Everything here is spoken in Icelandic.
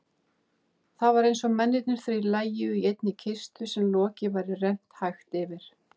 Það var einsog mennirnir þrír lægju í einni kistu sem loki væri rennt hægt yfir.